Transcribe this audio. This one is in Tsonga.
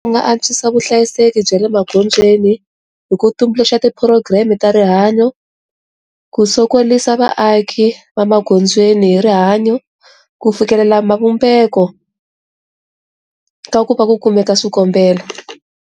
Ku nga antswisa vuhlayiseki bya le maghondzweni hi ku tumbuluxa ti program ta rihanyo ku sokorisa vaaki va magondzweni hi rihanyo ku fikelela mavumbeko ka ku va ku kumeka swikombelo.